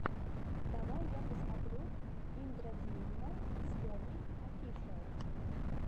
давай я посмотрю индрадьюмна своми офишиал